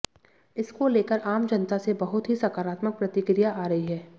इसको लेकर आम जनता से बहुत ही सकारात्मक प्रतिक्रिया आ रही है